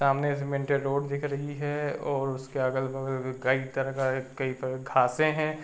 सामने cemented road दिख रही है और उसके अगल बगल कई तरह का कई घासें हैं।